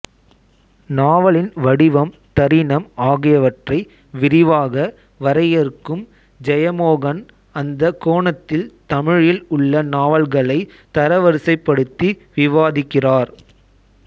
நாவலின் வடிவம் தரினம் ஆகியவற்றை விரிவாக வரையறுக்கும் ஜெயமோகன் அந்த கோணத்தில் தமிழில் உள்ள நாவல்களை தரவரிசைப்படுத்தி விவாதிக்கிறார்